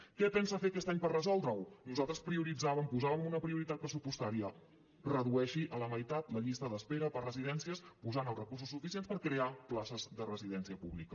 què pensa fer aquest any per resoldre ho nosaltres prioritzàvem posàvem una prioritat pressupostària redueixi a la meitat la llista d’espera per a residències posant els recursos suficients per crear places de residència pública